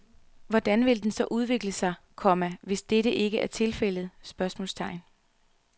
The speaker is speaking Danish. Hvordan vil den så udvikle sig, komma hvis dette ikke er tilfældet? spørgsmålstegn